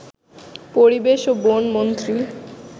পরিবেশ ও বনমন্ত্রী